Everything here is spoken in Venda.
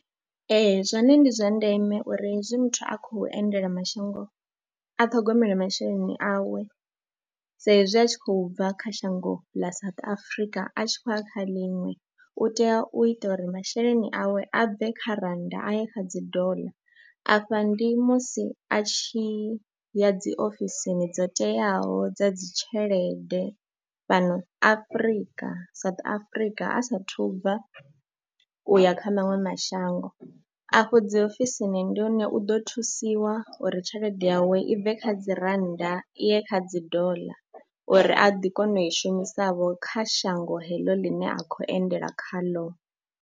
Ee, zwone ndi zwa ndeme uri hezwi muthu a khou endela mashango a ṱhogomele masheleni awe saizwi a tshi khou bva kha shango ḽa South Africa a tshi khou ya kha ḽinwe u tea u ita uri masheleni awe a bve kha rannda a ye kha dzi doḽa. Afha ndi musi a tshi ya dzi ofisini dzo teaho dza dzi tshelede fhano Afrika, South Africa a saathu bva u ya kha maṅwe mashango. Afho dzi ofisini ndi hone u ḓo thusiwa uri tshelede yawe i bve kha dzi rannda i ye kha dzi doḽa uri a ḓi kona u i shumisavho kha shango heḽo ḽine a khou endela khaḽo.